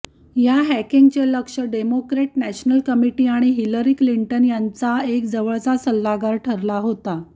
या हॅकिंगचे लक्ष्य डेमोक्रेट नॅशनल कमिटी आणि हिलरी क्लिंटन यांचा एक जवळचा सल्लागार ठरला होता